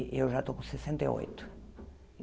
E eu já estou com sessenta e oito.